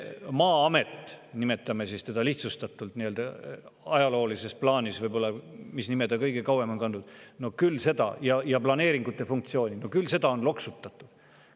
Aga teate, Maa-amet, nimetame seda lihtsustatult nii, sest ajaloolises plaanis on see amet seda nime ja planeeringute funktsioone kõige kauem kandnud – no küll seda on loksutatud.